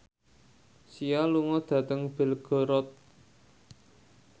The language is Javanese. Sia lunga dhateng Belgorod